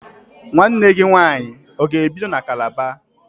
Nwanne gị nwaanyị ọ ga-ebido na Kalaba?